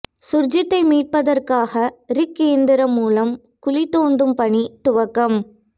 சுர்ஜித்தை மீட்பதற்காக ரிக் இயந்திரம் மூலம் குழி தோண்டும் பணி துவக்கம்